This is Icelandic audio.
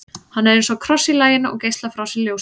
hann er eins og kross í laginu og geislar frá sér ljósi